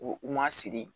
U u ma sigi